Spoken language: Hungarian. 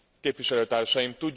képviselőtársaim!